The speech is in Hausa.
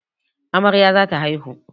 Amarya za ta haihu.